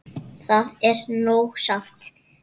Það er nóg samt.